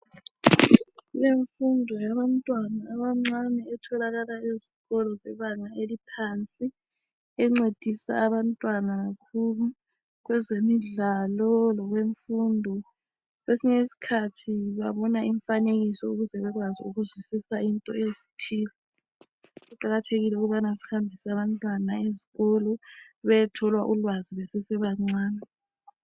Kulemfundo yabantwana abancane etholakala ezikolo zebanga eliphansi, encedisa abantwana kakhulu kwezemidlalo lokwemfundo. Kwesinye isikhathi babona imifanekiso ukuze bekwazi ukuzwisisa into ezithile. Kuqakathekile ukubana sihambise abantwana ezikolo bayethola ulwazi besesebancane.